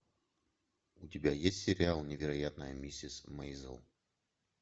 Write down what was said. у тебя есть сериал невероятная миссис мэйзел